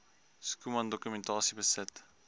schoeman dokumentasie besit